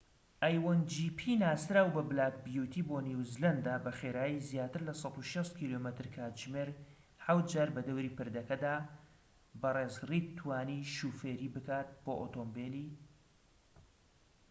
بەڕێز ڕید توانی شۆفێری بکات بۆ ئۆتۆمبیلی a1gp ی ناسراو بە بلاک بیوتی بۆ نیوزیلەندە بە خێرایی زیاتر لە 160 کم/کاتژمێر حەوت جار بەدەوری پردەکەدا